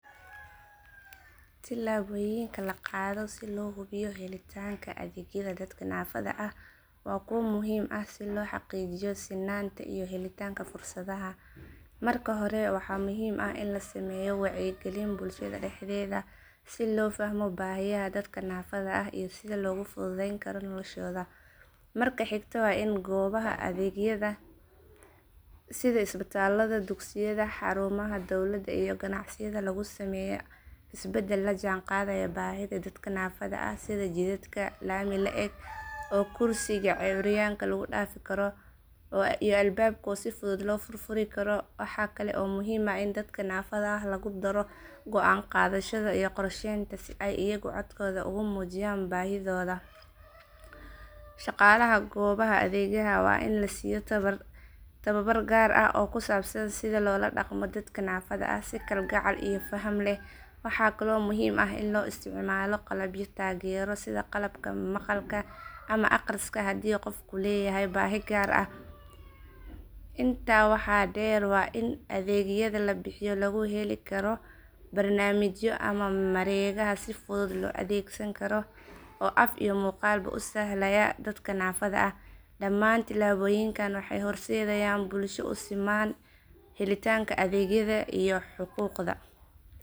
Tilaabooyinka la qaado si loo hubiyo helitaanka adeegyada dadka naafada ah waa kuwo muhiim ah si loo xaqiijiyo sinnaanta iyo helitaanka fursadaha. Marka hore waxaa muhiim ah in la sameeyo wacyigelin bulshada dhexdeeda si loo fahmo baahiyaha dadka naafada ah iyo sida loogu fududeyn karo noloshooda. Marka xigta waa in goobaha adeegyada sida isbitaalada dugsiyada xarumaha dawladda iyo ganacsiyada lagu sameeyaa isbedel la jaan qaadaya baahida dadka naafada ah sida jidadka laami la eg oo kursiga curyaanka lagu dhaafi karo iyo albaabo si fudud loo furfuri karo. Waxaa kale oo muhiim ah in dadka naafada ah lagu daro go'aan qaadashada iyo qorsheynta si ay iyagu codkooda uga muujiyaan baahidooda. Shaqaalaha goobaha adeegga waa in la siiyo tababar gaar ah oo ku saabsan sida loola dhaqmo dadka naafada ah si kalgacal iyo faham leh. Waxaa kaloo muhiim ah in la isticmaalo qalabyo taageero sida qalabka maqalka ama akhriska haddii qofku leeyahay baahi gaar ah. Intaa waxaa dheer waa in adeegyada la bixiyo lagu heli karo barnaamijyo ama mareegaha si fudud loo adeegsankaro oo af iyo muuqaalba u sahlaya dadka naafada ah. Dhammaan tilaabooyinkan waxay horseedayaan bulsho u siman helitaanka adeegyada iyo xuquuqda.